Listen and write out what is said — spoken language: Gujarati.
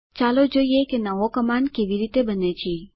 ચાલો જોઈએ કે નવો કમાંડ કેવી રીતે બને છે